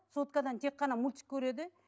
соткадан тек қана мультик көреді